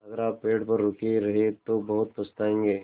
अगर आप पेड़ पर रुके रहे तो बहुत पछताएँगे